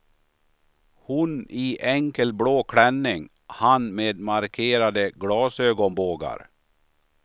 Hon i enkel blå klänning, han med markerade glasögonbågar.